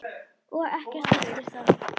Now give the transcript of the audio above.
Og ekkert eftir það.